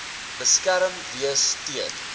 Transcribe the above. beskerm wees teen